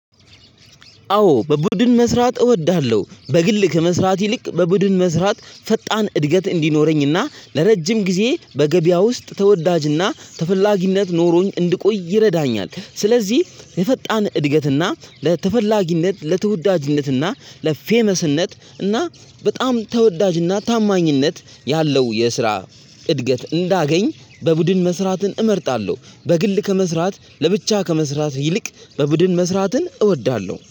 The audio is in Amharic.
አዎ በቡድን መስራት እወድሃለሁ በግል ከመስራት ይልቅ በቡድን መስራት ፈጣን እድገት እንዲኖረኝና ለረጅም ጊዜ በገበያ ውስጥ ተወዳጅና ተፈላጊነት ኖሮኝ እንድቆይ ይረዳኛል። ስለዚህ የፈጣን እድገትና ለተፈላጊነት ለተወዳጅነትና ለፌመስነት እና በጣም ተወዳጅና ታማኝነት ያለው የስራ እድገት እንዳገኝ። በቡድን መስራትን እመርጣለሁ በግል ከመስራት ለብቻ ከመስራት ይልቅ በቡድን መስራትን እወዳለሁ